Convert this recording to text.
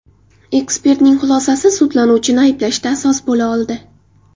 Ekspertning xulosasi sudlanuvchini ayblashda asos bo‘la oldi.